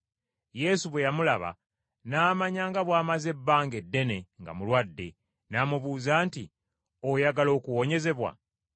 Yesu bwe yamulaba n’amanya nga bw’amaze ebbanga eddene nga mulwadde, n’amubuuza nti, “Oyagala okuwonyezebwa?”